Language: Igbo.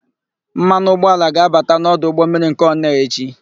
Mmanụ ụgbọala ga-abata n'ọdụ ụgbọmmiri nke Onee echi.